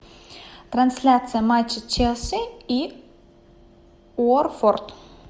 трансляция матча челси и уотфорд